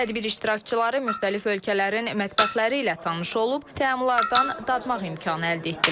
Tədbir iştirakçıları müxtəlif ölkələrin mətbəxləri ilə tanış olub, təammlardan dadmaq imkanı əldə etdilər.